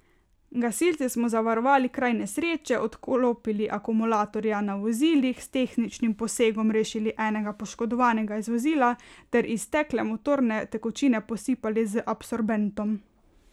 Gasilci smo zavarovali kraj nesreče, odklopili akumulatorja na vozilih, s tehničnim posegom rešili enega poškodovanega iz vozila ter iztekle motorne tekočine posipali z absorbentom.